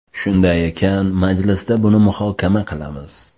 Shunday ekan, majlisda buni muhokama qilamiz.